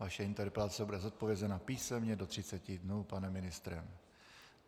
Vaše interpelace bude zodpovězena písemně do 30 dnů panem ministrem.